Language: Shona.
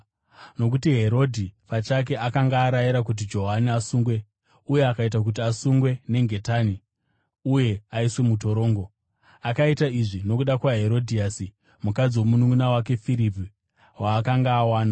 Nokuti Herodhi pachake akanga arayira kuti Johani asungwe, uye akaita kuti asungwe nengetani uye aiswe mutorongo. Akaita izvi nokuda kwaHerodhiasi mukadzi womununʼuna wake Firipi waakanga awana.